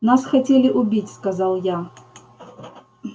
нас хотели убить сказал я